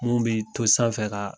Mun bee to sanfɛ kaa